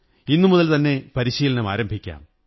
ഇന്നുമുതൽ തന്നെ പരിശീലനം ആരംഭിക്കാം